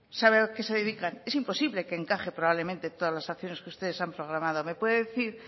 sabe a qué se dedican es imposible que encaje probablemente todas las acciones que ustedes han programado me puede decir